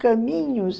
Caminhos?